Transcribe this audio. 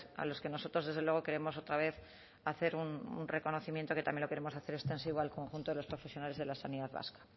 a los que nosotros desde luego queremos otra vez hacer un reconocimiento que también lo queremos hacer extensivo al conjunto de los profesionales de la sanidad vasca